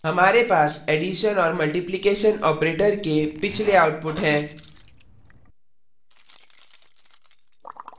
हमारे पास एडिशन और multiplication operators के पिछले outputs हैं